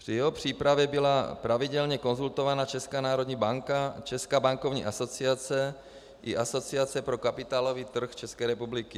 Při jeho přípravě byla pravidelně konzultována Česká národní banka, Česká bankovní asociace i Asociace pro kapitálový trh České republiky.